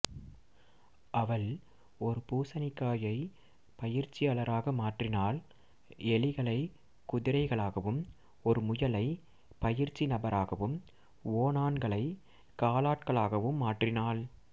அவள் ஒரு பூசணிக்காயை பயிற்சியாளராக மாற்றினாள் எலிகளை குதிரைகளாகவும் ஒரு முயலை பயிற்சி நபராகவும் ஓணான்களை காலாட்களாகவும் மாற்றினாள்